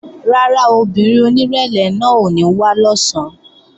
Rárá, obìnrin onírẹ̀lẹ̀ náà ò ní wá lọ̀sán